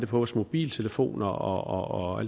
på vores mobiltelefoner og